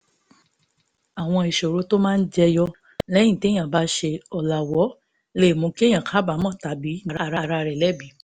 àwọn ìṣòro tó máa jẹ yọ lẹ́yìn téèyàn bá ṣe ọ̀làwọ́ lè mú kéèyàn kábàámọ̀ tàbí dá ara rẹ̀ lẹ́bi